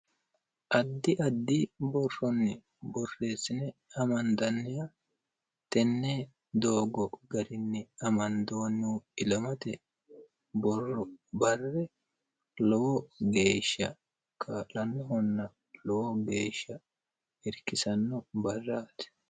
addi addi borronni borreessine amandanniya tenne doogo garinni amandoonnih ilamate borro barre lowo geeshsha kaa'lannohonna lowo geeshsha irkisanno barraati.